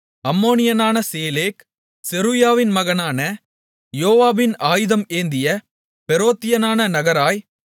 அம்மோனியனான சேலேக் செருயாவின் மகனான யோவாபின் ஆயுதம் ஏந்திய பெரோத்தியனான நகராய்